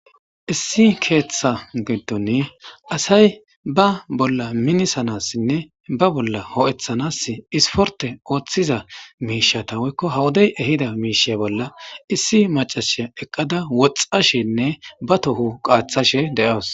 issi keeththa giddon asay ba bolla minisanassinne ba bolla ho7eththanas isporte ooththiza miishata woykko hawodey ehida miishey bolla issi macashiya eqqada woxxashenne ba tohu qaaththashe de7awos